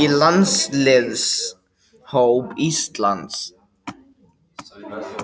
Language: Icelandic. í landsliðshóp Íslands?